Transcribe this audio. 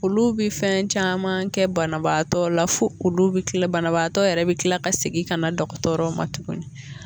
Olu bɛ fɛn caman kɛ banabaatɔ la fo olu bɛ kila banabaatɔ yɛrɛ bɛ kila ka segin ka na dɔgɔtɔrɔw ma tuguni